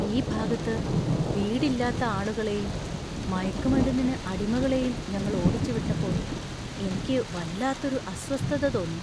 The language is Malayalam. ഈ ഭാഗത്ത് വീടില്ലാത്ത ആളുകളെയും, മയക്കുമരുന്നിന് അടിമകളെയും ഞങ്ങൾ ഓടിച്ചുവിട്ടപ്പോൾ എനിക്ക് വല്ലാത്തൊരു അസ്വസ്ഥത തോന്നി.